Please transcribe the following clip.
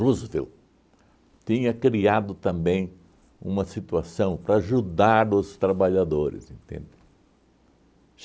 Roosevelt tinha criado também uma situação para ajudar os trabalhadores, entende?